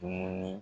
Dumuni